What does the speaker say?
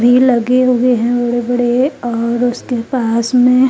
भी लगे हुए है बड़े बड़े और उसके पास में--